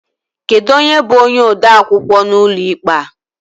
Kedụ onye bú onye odeakwụkwọ n'ụlọ ikpe a?